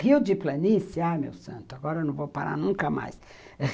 Rio de planície, ah meu santo, agora eu não vou parar nunca mais.